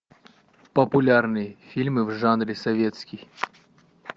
популярные фильмы в жанре советский